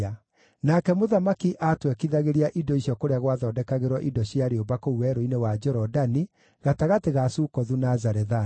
Nake mũthamaki aatwekithagĩria indo icio kũrĩa gwathondekagĩrwo indo cia rĩũmba kũu werũ-inĩ wa Jorodani gatagatĩ ga Sukothu na Zarethani.